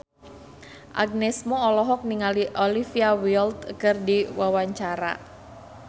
Agnes Mo olohok ningali Olivia Wilde keur diwawancara